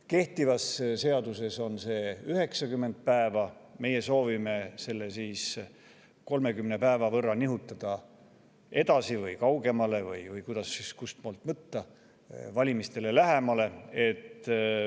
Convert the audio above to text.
" Kehtivas seaduses on see 90 päeva, meie soovime selle 30 päeva võrra nihutada edasi või kaugemale, või kustpoolt võtta, valimistele lähemale.